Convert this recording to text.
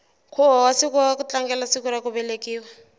nkhuvo wa siku ra ku tlangela ku velekiwa